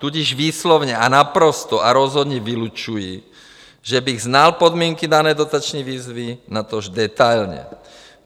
Tudíž výslovně a naprosto a rozhodně vylučuji, že bych znal podmínky dané dotační výzvy, natož detailně.